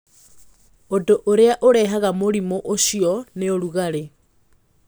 Ũndũ ũrĩa mũnene ũrehaga mũrimũ ũcio nĩ ũrugarĩ